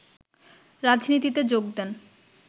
রাজনীতিতে যোগ দেন